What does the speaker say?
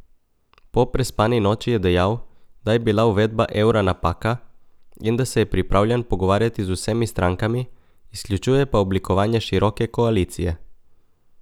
Po prespani noči je dejal, da je bila uvedba evra napaka in da se je pripravljen pogovarjati z vsemi strankami, izključuje pa oblikovanje široke koalicije.